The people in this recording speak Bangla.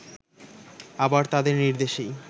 আবার তাদের নির্দেশেই